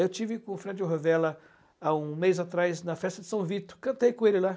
Eu estive com o Fred Rovella há um mês atrás na festa de São Vito, cantei com ele lá.